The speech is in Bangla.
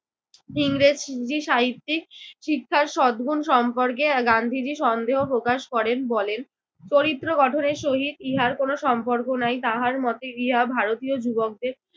ইংরেজি সাহিত্যিক শিক্ষার সদগুণ সম্পর্কে গান্ধীজি সন্দেহ প্রকাশ করেন। বলেন, “চরিত্র গঠনের সহিত ইহার কোন সম্পর্ক নাই। তাহার মতে ইহা ভারতীয় যুবকদের